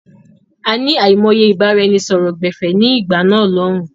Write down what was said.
A ní àìmọye ìbáraẹnisọọ̀rọ̀ gbẹ̀fẹ̀ ni ìgbà náà lòun.